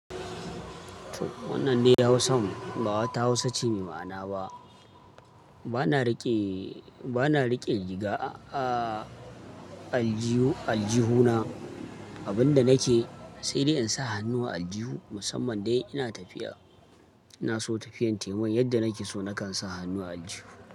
Wannan dai hausan, ba wata Hausa ce mai ma'ana ba. Bana rike, rike riga a, a aljihu, aljihuna. Abin da nake, sai dai in sa hannu a aljihu. Musamman dai ina tafiya, ina so tafiyan taimun yadda nake so nakan sa hannu a aljihu.